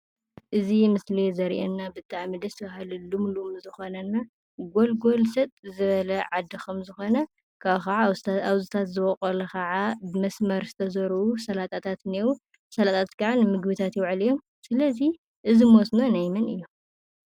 እዚ ምስሊ ዘርእየና ብጣዕሚ ደስ በሃሊ፣ ልምሉም ዝኮነ እና ጎልጎል ሰጥ ዝበለ ዓዲ ከም ዝኮነ፤ ካብኡ ካዓ አብዚታት ዝበቆሉ ከዓ ብመስመር ዝተዘርኡ ሰላጣታት እኒኤው፡፡ ሰላጣታት ከዓ ንምግቢታት ይውዕሉ እዮም፡፡ ሰለዚ እዚ መስኖ ናይ መን እዩ?